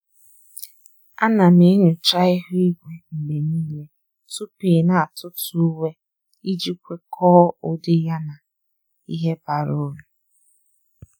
À nà m enyocha ihu igwe mgbe nìile tupu ị́ nà-átụ́tụ́ uwe iji kwekọ́ọ ụ́dị́ yá na ìhè bara uru.